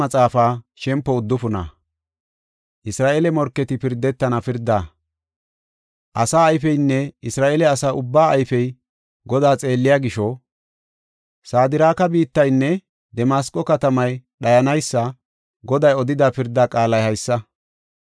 Asaa ayfeynne Isra7eele asa ubbaa ayfey Godaa xeelliya gisho, Sadraaka biittaynne Damasqo katamay dhayanaysa, Goday odida pirda qaalay haysa.